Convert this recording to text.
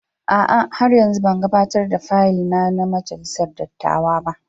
A'a, har yanzu ban gabatar da fayil na ga Majalisar Dattawa ba.